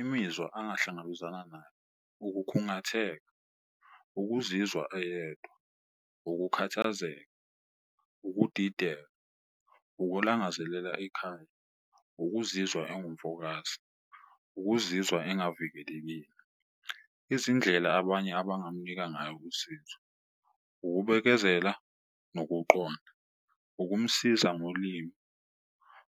Imizwa angahlangabezana nayo ukukhungatheka, ukuzizwa eyedwa, ukukhathazeka, ukudideka, ukulangazelela ikhaya, ukuzizwa engumfokazi, ukuzizwa engavikelekile. Izindlela abanye abangamunikeza ngayo usizo, ukubekezela nokuqonda, ukumsiza ngolimi,